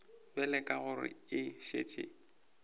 bjale ka gore e šetše